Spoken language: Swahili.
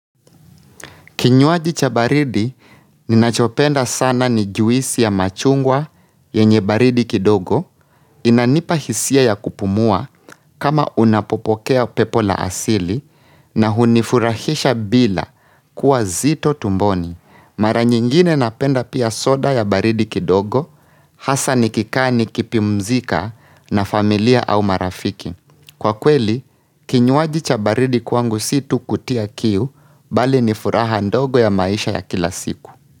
Kinywaji cha baridi, ninachopenda sana ni juisi ya machungwa yenye baridi kidogo, inanipahisia ya kupumua kama unapopokea pepo la asili na hunifurahisha bila kuwa nzito tumboni. Mara nyingine napenda pia soda ya baridi kidogo, hasa nikaa nikipimzika na familia au marafiki. Kwa kweli, kinywaji cha baridi kwangu si tu kutia kiu bali ni furaha ndogo ya maisha ya kila siku.